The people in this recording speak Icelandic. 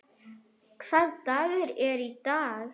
Hvaða dagur er í dag?